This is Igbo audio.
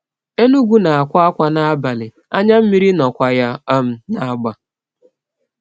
Enugu na-akwa akwa n’abalị, anya mmiri nnọkwa ya um n’agba.